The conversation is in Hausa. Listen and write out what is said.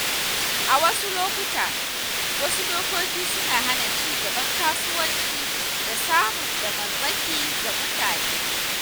A wasu lokuta, wasu dokoki suna hana ci gaban kasuwanci da samun damarmaki ga mutane.